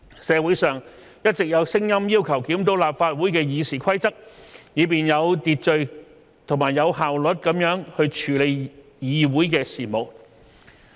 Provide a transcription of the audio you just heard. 社會上一直有聲音要求檢討立法會的《議事規則》，以便有秩序及有效率地處理議會事務。